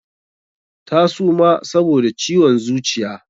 Ta suma saboda ciwon zuciya.